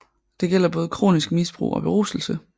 Det gælder både kronisk misbrug og beruselse